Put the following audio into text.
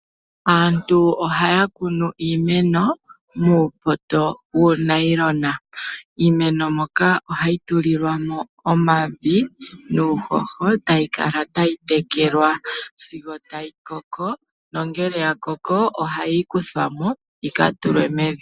Aantu ohaya kunu iimeno muumpunda wuuwagalala( wuunayilona). Iimeno moka ohayi tulilwamo evi nuuhoho etayi Kala tayi tekelwa sigo tayi koko na ngele ya koko ohayi kuthwamo yika tulwe mevi.